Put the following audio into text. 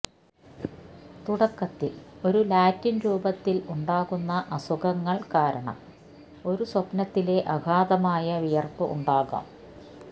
തുടക്കത്തിൽ ഒരു ലാറ്റിൻ രൂപത്തിൽ ഉണ്ടാകുന്ന അസുഖങ്ങൾ കാരണം ഒരു സ്വപ്നത്തിലെ അഗാധമായ വിയർപ്പ് ഉണ്ടാകാം